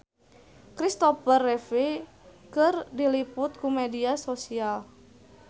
Christopher Reeve diliput ku media nasional